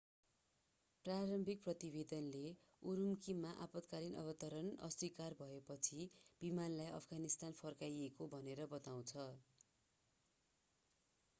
प्रारम्भिक प्रतिवेदनले उरूम्कीमा आपत्कालीन अवतरण अस्वीकार भएपछि विमानलाई अफगानिस्तान फर्काइयो भनेर बताउँछ